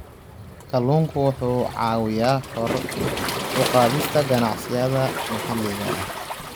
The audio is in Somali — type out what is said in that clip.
Kalluunku wuxuu caawiyaa kor u qaadista ganacsiyada maxalliga ah.